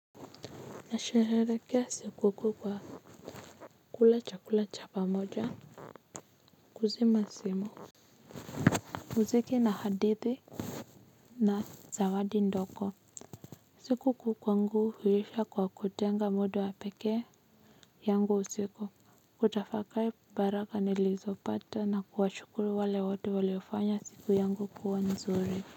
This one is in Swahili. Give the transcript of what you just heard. Nasherehekea sikukuu kwa kula chakula cha pamoja kuzima simu muziki na hadithi na zawadi ndogo siku kuu kwangu huisha kwa kutenga mudu wa pekee yangu usiku kutafakari baraka nilizopata na kuwashukuru wale wote waliofanya siku yangu kuwa nzuri kwa hiyo.